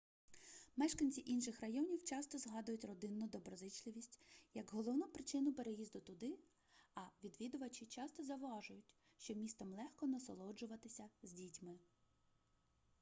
мешканці інших районів часто згадують родинну доброзичливість як головну причину переїзду туди а відвідувачі часто зауважують що містом легко насолоджуватися з дітьми